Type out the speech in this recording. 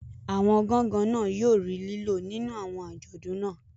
Awọn gangan yóò rí lilo nínú awọn ajọdun naa